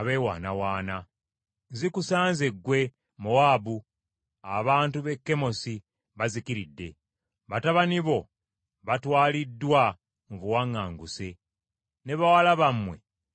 Zikusanze ggwe, Mowaabu. Abantu b’e Kemosi bazikiridde, batabani bo batwaliddwa mu buwaŋŋanguse ne bawala bammwe mu busibe.